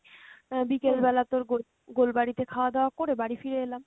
আহ বিকেল বেলা তোর গোল~ গোলবাড়ি তে খাওয়া দাওয়া করে বাড়ি ফিরে এলাম।